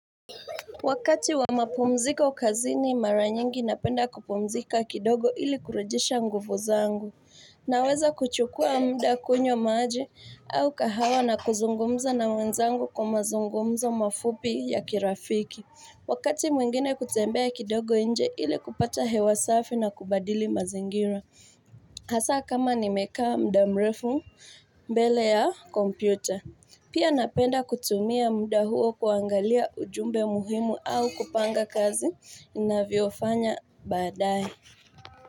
Wakati wa mapumziko kazini mara nyingi napenda kupumzika kidogo ili kurejesha nguvu zangu Naweza kuchukua muda kunywa maji au kahawa na kuzungumzo na wenzangu kwa mazungumza mafupi ya kirafiki Wakati mwingine kutembea kidogo nje ili kupata hewa safi na kubadili mazingira Hasa kama nimekaa muda mrefu mbele ya kompyuta Pia napenda kutumia muda huo kuangalia ujumbe muhimu au kupanga kazi inaviofanya baadaye.